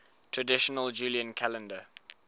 traditional julian calendar